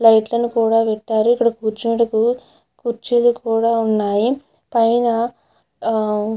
లైట్లను కూడా పెట్టారు ఇక్కడ కూర్చోవడానికి కుర్చీలు కూడా ఉన్నాయి పైన --